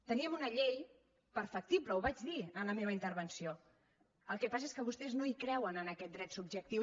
tenim una llei perfectible ho vaig dir en la meva intervenció el que passa és que vostès no hi creuen en aquest dret subjectiu